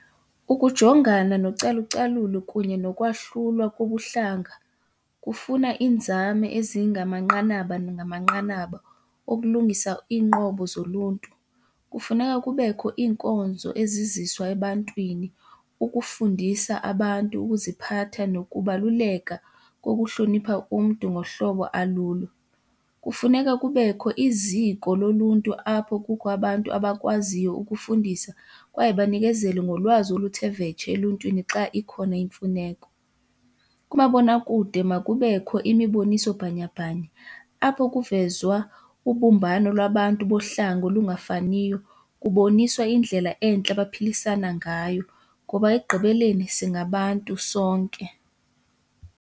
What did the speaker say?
Ukujongana nocalucalulo kunye nokwahlulwa kobuhlanga kufuna iinzame ezingamanqanaba nangamanqanaba okulungisa iinqobo zoluntu. Kufuneka kubekho inkonzo eziziswa ebantwini ukufundisa abantu ukuziphatha nokubaluleka kokuhlonipha umntu ngohlobo alulo. Kufuneka kubekho iziko loluntu apho kukho abantu abakwaziyo ukufundisa kwaye banikezele ngolwazi oluthe vetshe eluntwini xa ikhona imfuneko. Kumabonakude makubekho imiboniso bhanyabhanya apho kuvezwa ubumbano lwabantu bohlanga olungafaniyo, kuboniswa indlela entle abaphilisana ngayo ngoba ekugqibeleni singabantu sonke.